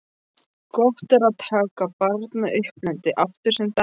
Gott er að taka barnauppeldið aftur sem dæmi.